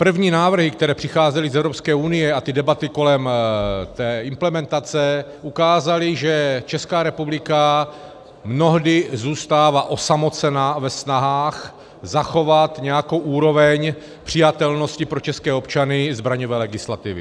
První návrhy, které přicházely z Evropské unie, a ty debaty kolem té implementace ukázaly, že Česká republika mnohdy zůstává osamocena ve snahách zachovat nějakou úroveň přijatelnosti pro české občany zbraňové legislativy.